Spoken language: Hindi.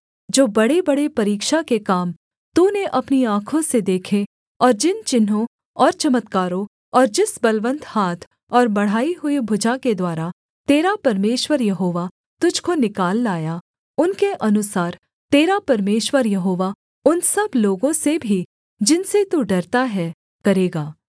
जो बड़ेबड़े परीक्षा के काम तूने अपनी आँखों से देखे और जिन चिन्हों और चमत्कारों और जिस बलवन्त हाथ और बढ़ाई हुई भुजा के द्वारा तेरा परमेश्वर यहोवा तुझको निकाल लाया उनके अनुसार तेरा परमेश्वर यहोवा उन सब लोगों से भी जिनसे तू डरता है करेगा